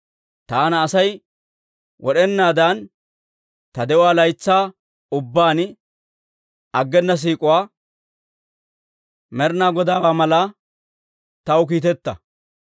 Taana Asay wod'enaadan ta de'uwaa laytsaa ubbaan aggena siik'uwaa, Med'inaa Godaawaa mallaa taw kiiteta.